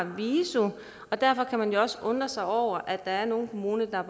viso derfor kan man også undre sig over at der er nogle kommuner der